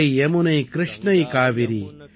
Ganga Yamuna Krishna Kaveri